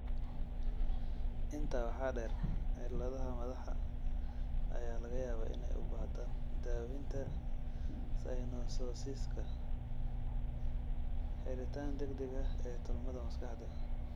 Intaa waxaa dheer, cilladaha madaxa ayaa laga yaabaa inay u baahdaan daaweynta synososiska (xiritaan degdeg ah ee tolmada maskaxda).